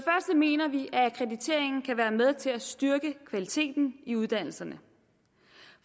mener vi at akkrediteringen kan være med til at styrke kvaliteten i uddannelserne